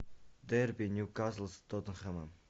дерби ньюкасл с тоттенхэмом